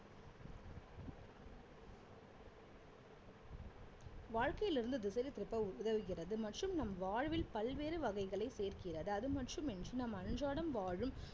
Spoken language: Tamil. வாழ்க்கையில இருந்து திருப்ப உதவுகிறது மற்றும் நம் வாழ்வில் பல்வேறு வகைகளை சேர்க்கிறது அதுமட்டுமின்றி நாம் அன்றாடம் வாழும்